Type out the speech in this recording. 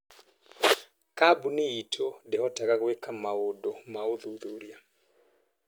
Kambuni itũ ndĩhotaga gwĩka maũndũ ma ũthuthuria.